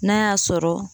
N'a y'a sɔrɔ